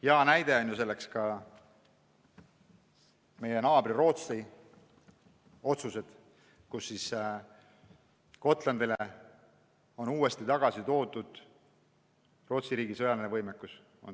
Hea näide on meie naabri Rootsi otsused: Gotlandil on nüüd jälle tagatud Rootsi riigi sõjaline võimekus.